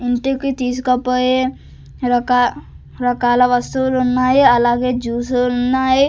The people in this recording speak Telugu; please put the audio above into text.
ఇంటికి తీసుకుపోయే రక రకాల వస్తువులు ఉన్నాయి అలాగే జ్యూసులున్నాయి .